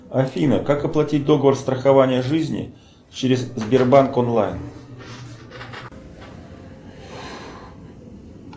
афина как оплатить договор страхования жизни через сбербанк онлайн